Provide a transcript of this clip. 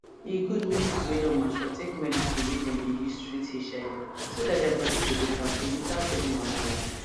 e good make people wey don mature take medicine wey dem dey use treat hiv so that their body go dey kampe without any wahala